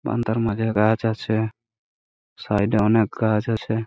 বারান্দা র মাঝে গাছ আছে। সাইড -এ অনেক গাছ আছে।